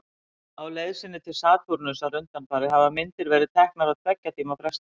Á leið sinni til Satúrnusar undanfarið hafa myndir verið teknar á tveggja tíma fresti.